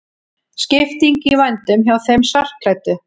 Skipting í vændum hjá þeim svartklæddu.